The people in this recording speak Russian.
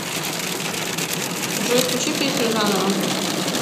джой включи песню заново